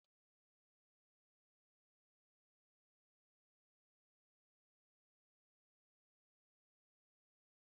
Maka Mary, nri ezinụlọ gụnyere ịké otu ite ofe ogbọno na akpụ